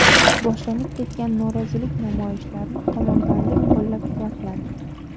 Boshlanib ketgan norozilik namoyishlarini qo‘mondonlik qo‘llab-quvvatladi.